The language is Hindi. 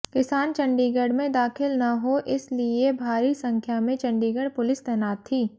किसान चंडीगढ़ में दाखिल न हो इस लिए भारी संख्या में चंडीगढ़ पुलिस तैनात थी